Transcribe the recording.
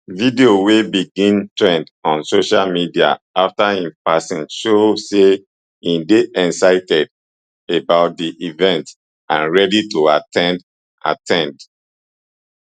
videos wey begin trend on social media afta im passing show say e dey excited about di event and ready to at ten d at ten d